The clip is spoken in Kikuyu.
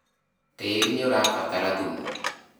tĩĩri nĩũrabatara thumu